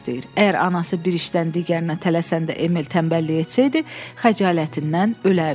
Əgər anası bir işdən digərinə tələsəndə Emil tənbəllik etsəydi, xəcalətindən ölərdi.